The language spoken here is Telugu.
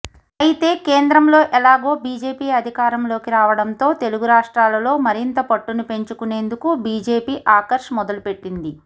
అయితే కేంద్రంలో ఎలాగో బీజేపీ అధికారంలోకి రావడంతో తెలుగు రాష్ట్రాలలో మరింత పట్టును పెంచుకునేందుకు బీజేపీ ఆకర్ష్ మొదలుపెట్టింది